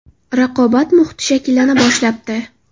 Raqobat muhiti shakllana boshlabdi.